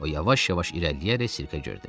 O yavaş-yavaş irəliləyərək sirkə girdi.